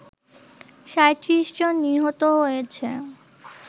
৩৭ জন নিহত হয়েছে